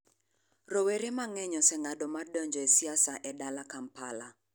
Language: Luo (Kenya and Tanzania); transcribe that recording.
Rowere mang'eny oseng'ado mar donjo e siasa e dala Kampala.